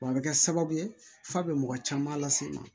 Wa a bɛ kɛ sababu ye f'a bɛ mɔgɔ caman las'i ma